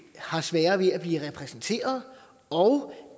har sværere ved at blive repræsenteret og